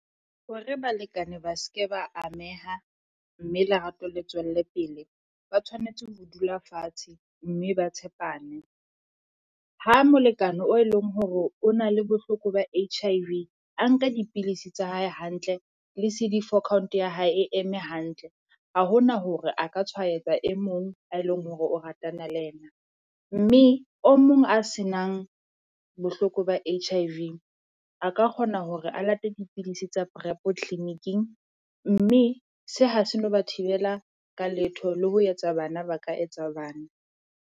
Hore balekane ba se ke ba ameha mme lerato le tswelle pele, ba tshwanetse ho dula fatshe mme ba tshepane. Ha molekane oe leng hore o na le bohloko ba H_I_V, a nka dipilisi tsa hae hantle le C_D 4 count ya hae e eme hantle, ha ho na hore a ka tshwaetsa e mong ae leng hore o ratana le yena. Mme o mong a se nang bohloko ba H_I_V a ka kgona hore a late dipidisi tsa prep clinic-ing mme se ha se no ba thibela ka letho le ho etsa bana ba ka etsa bana.